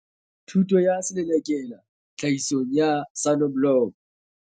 Thuto ya Selelekela Tlhahisong ya Soneblomo.